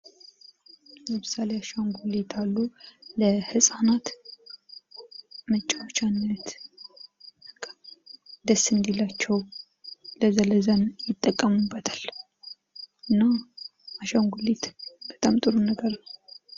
ለምሳሌ አሻንጉሊት አሉ ለህጻናት መጫዎቻነት ደስ እንድላቸው ለዛ ለዛ ይጠቀሙበታል እና አሻንጉሊት በጣም ጥሩ ነገር ነው።